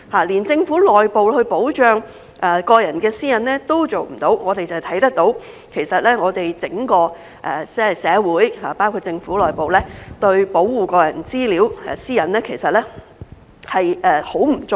連政府內部也保障不到個人私隱，可見整個社會，包括政府內部，對個人資料、私隱的保護很不足夠。